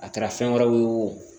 A kɛra fɛn wɛrɛw ye o